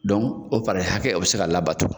Dɔnku o para hakɛ o bɛ se ka labato.